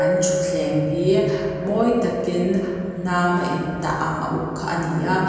an thutthleng hi mawi takin hnam a intah ang a uk kha ani a.